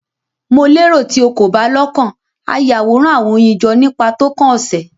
Mo lero ti o ko ba lokan a Yaworan awọn oyin jọ nipa tókàn ose